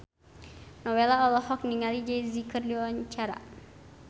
Nowela olohok ningali Jay Z keur diwawancara